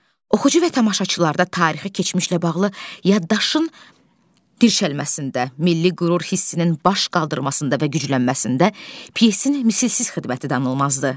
Oxucu və tamaşaçılarda tarixi keçmişlə bağlı yaddaşın dirçəlməsində, milli qürur hissinin baş qaldırmasında və güclənməsində pyesin misilsiz xidməti danılmazdır.